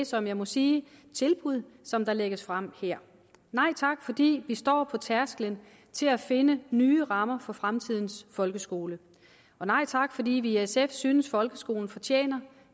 som jeg må sige tilbud som der lægges frem her nej tak fordi vi står på tærskelen til at finde nye rammer for fremtidens folkeskole og nej tak fordi vi i sf synes at folkeskolen fortjener